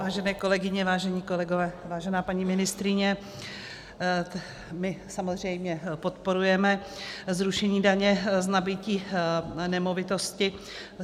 Vážené kolegyně, vážení kolegové, vážená paní ministryně, my samozřejmě podporujeme zrušení daně z nabytí nemovitosti.